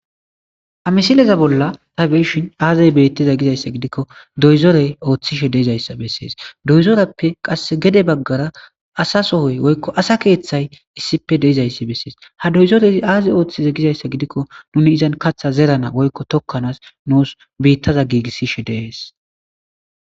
Ha misileza bolla tabeeshin aazey bettiza gizayssa gidikko doyzorey ooththishe deizayssa bessees doyzorappe qass gede baggara asa sohoy woykko asa keeththay issippe deizayssi bessees ha doyzorei aazey ooththiza gizayssa gidikko nuni izan katha zerana woykko tokkanaas nuus biittaza giigissishe deees.